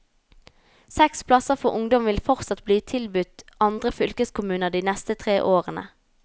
Seks plasser for ungdom vil fortsatt bli tilbudt andre fylkeskommuner de neste tre årene.